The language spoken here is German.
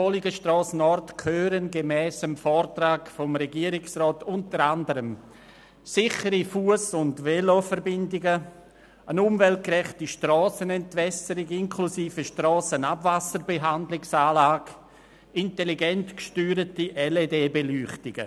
Bolligenstrasse Nord gehören gemäss dem Vortrag des Regierungsrats unter anderem sichere Fuss- und Veloverbindungen, eine umweltgerechte Strassenentwässerung inklusive Strassenabwasserbehandlungsanlage und intelligent gesteuerte LED-Beleuchtungen.